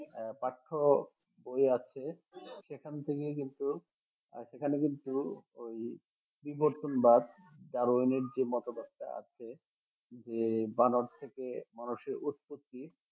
আহ পাঠ্যবই আছে সেখান থেকে কিন্তু আহ সেখানে কিন্তু ওই বিবর্তনবাদ ডারউইন এর যে মতবাদটি আছে যে বানর থেকে মানুষের উতপত্তি